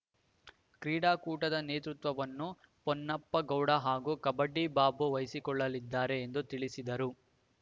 ಕ್ರೀಡಾಕೂಟದ ನೇತೃತ್ವವನ್ನು ಪೊನ್ನಪ್ಪಗೌಡ ಹಾಗೂ ಕಬಡ್ಡಿ ಬಾಬು ವಹಿಸಿಕೊಳ್ಳಲಿದ್ದಾರೆ ಎಂದು ತಿಳಿಸಿದರು